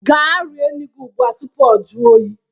Gaa rie nri gị ugbu a tupu o jụọ oyi